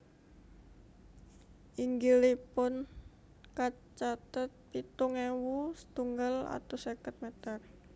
Inggilipun kacatet pitung ewu setunggal atus seket meter